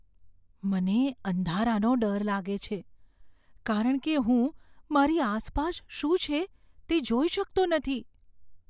મને અંધારાનો ડર લાગે છે કારણ કે હું મારી આસપાસ શું છે તે જોઈ શકતો નથી.